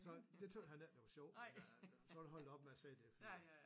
Så det tøgges han ikke det var sjov men han så er han holdt op med at sige det fordi